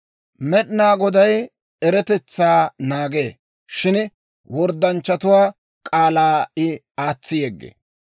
Med'inaa Goday eretetsaa naagee; shin worddanchchatuwaa k'aalaa I aatsi yeggee.